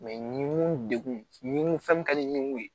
ɲinun dekun ɲinw fɛn min ka di ɲugu ye